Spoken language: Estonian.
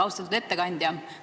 Austatud ettekandja!